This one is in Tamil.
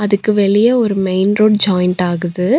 அதுக்கு வெளிய ஒரு மெயின் ரோட் ஜாயிண்ட் ஆகுது.